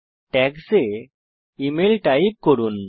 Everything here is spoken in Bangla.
ট্যাগস এ ইমেইল টাইপ করুন